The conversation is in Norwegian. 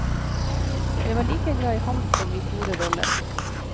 Jeg var like glad i ham som i store roller.